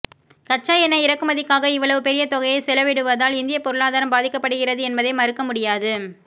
கச்சா எண்ணெய் இறக்குமதிக்காக இவ்வளவு பெரிய தொகையை செலவிடுவதால் இந்திய பொருளாதாரம் பாதிக்கப்படுகிறது என்பதை மறுக்க முடியாது